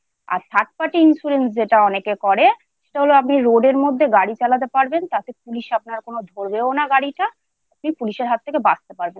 আর Third Party insurance যেটা অনেকে করে সেটা হল আপনি রোডেরতাতে police আপনার কোনও ধরবেও না। গাড়িটা police এর হাত থেকে বাঁচতে পারবেন।